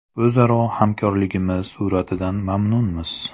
O‘zaro hamkorligimiz sur’atidan mamnunmiz.